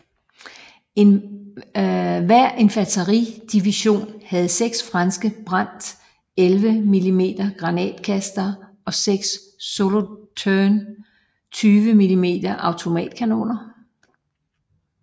Hver infanteridivision havde 6 franske Brandt 81 mm granatkastere og 6 Solothurn 20 mm automatkanoner